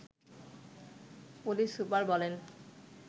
police super বলেন